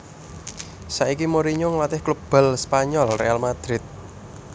Saiki Mourinho ngelatih klub bal Spanyol Real Madrid